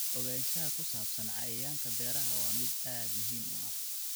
Ogaanshaha ku saabsan cayayaanka beeraha waa mid aad muhiim u ah.